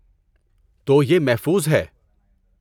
تو، یہ محفوظ ہے۔